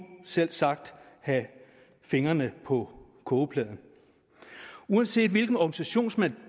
selvsagt have fingrene på kogepladen uanset hvilken organisationsmodel